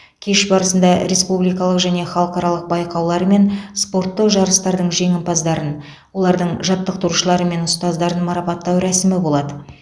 кеш барысында республикалық және халықаралық байқаулар мен спорттық жарыстардың жеңімпаздарын олардың жаттықтырушылары мен ұстаздарын марапаттау рәсімі болады